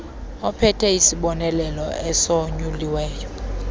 ophethe isibonelelo esonyuliweyo